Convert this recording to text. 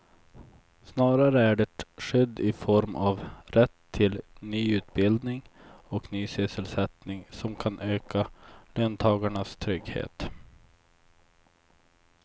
Snarare är det skydd i form av rätt till ny utbildning och ny sysselsättning som kan öka löntagarnas trygghet.